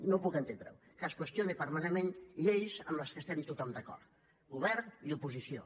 no puc entendre ho que es qüestionin permanentment lleis amb què estem tothom d’acord govern i oposició